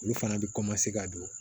Olu fana bɛ ka don